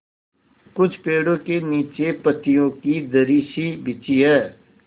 कुछ पेड़ो के नीचे पतियो की दरी सी बिछी है